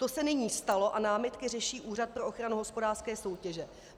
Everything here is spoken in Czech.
To se nyní stalo a námitky řeší Úřad pro ochranu hospodářské soutěže.